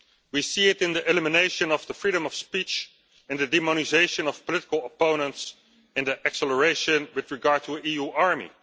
We see it in the elimination of the freedom of speech and the demonisation of political opponents and the acceleration with regard to the EU army.